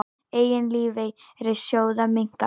Eign lífeyrissjóða minnkaði